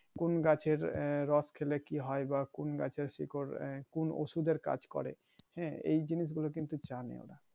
কোন গাছের রস খেলে কি হয় বা কোন গাছেরা শিকর এহ কোন ঔষধ এর কাজ করে হ্যাঁ এই জিনিস গুলো কিন্তু জানে ওরা